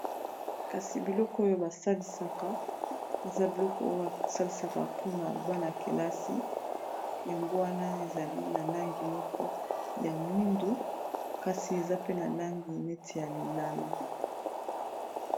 Kasi biloko oyo basalisaka eza biloko oyo basalisaka mpona bana -kelasi yango wana ezali na langi moko ya mwindu kasi eza pe na langi neti ya lilala.